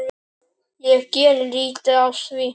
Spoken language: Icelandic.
Ég geri lítið af því.